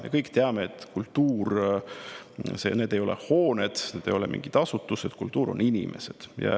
Me kõik teame, et kultuur ei ole hooned ega mingid asutused, kultuur on inimesed.